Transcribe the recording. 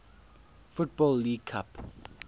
football league cup